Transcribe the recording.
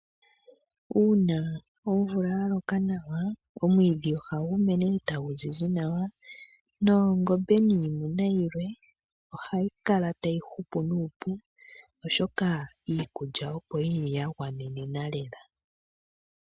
Uuna omvula yaloka nawa omwiidhi ohagu mene eta gu zizi nawa, noongombe niimuna yilwe ohayi kala tayi hupu nuupu, oshoka iikulya opo yili yagwanenena lela.